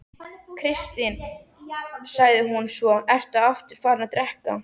Kristinn, sagði hún svo, ertu aftur farinn að drekka?